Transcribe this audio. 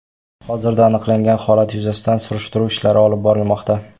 Hozirda aniqlangan holat yuzasidan surishtiruv ishlari olib borilmoqda.